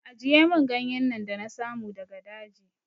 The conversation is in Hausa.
Ajiye min ganyen nan da na samu daga daji!